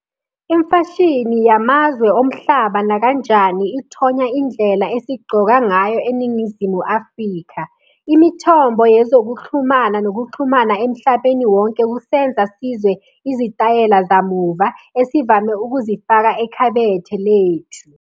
Imfashini yamazwe omhlaba nakanjani ithonya indlela esigcoka ngayo eNingizimu Afrika. Imithombo yezokuxhumana nokuxhumana emhlabeni wonke kusenza sizwe izitayela zamuva esivame ukuzifaka ekhabethe lethu.